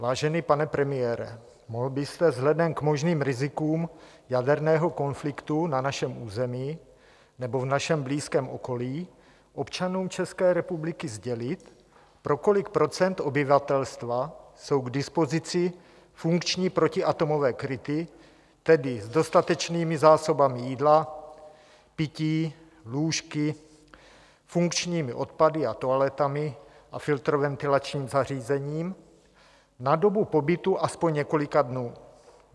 Vážený pane premiére, mohl byste vzhledem k možným rizikům jaderného konfliktu na našem území nebo v našem blízkém okolí občanům České republiky sdělit, pro kolik procent obyvatelstva jsou k dispozici funkční protiatomové kryty, tedy s dostatečnými zásobami jídla, pití, lůžky, funkčními odpady a toaletami a filtroventilačním zařízením na dobu pobytu alespoň několika dnů?